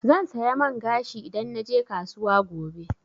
Zan saya man gashi idan naje kasuwa gobe.